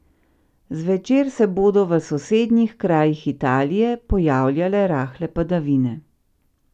Zvečer se bodo v sosednjih krajih Italije pojavljale rahle padavine.